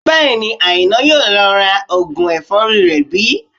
Bẹ́ẹ̀ni, Àìná yóò lo oògùn ẹ̀fọ́rí rẹ̀ bí